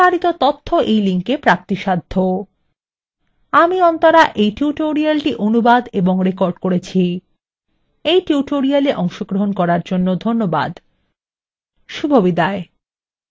আমি অন্তরা এই tutorialটি অনুবাদ এবং রেকর্ড করেছি এই tutorialএ অংশগ্রহন করার জন্য ধন্যবাদ শুভবিদায়